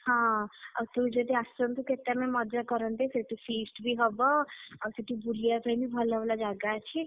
ହଁ, ତୁ ଯଦି ଆସନ୍ତୁ କେତେ ଆମେ ମଜା କରନ୍ତେ ସେଠି feast ବି ହବ ଆଉ ସେଠି ବୁଲିଆ ପାଇଁ ବି ଭଲ ଭଲ ଜାଗା ଅଛି।